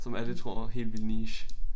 Som alle tror er helt vildt niche